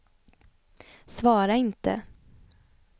svara inte